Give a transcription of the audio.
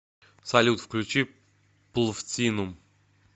салют включи плвтинум